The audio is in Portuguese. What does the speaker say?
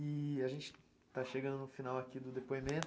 E a gente tá chegando no final aqui do depoimento.